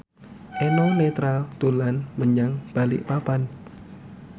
Eno Netral dolan menyang Balikpapan